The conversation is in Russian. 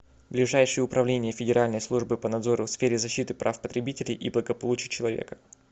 ближайший управление федеральной службы по надзору в сфере защиты прав потребителей и благополучия человека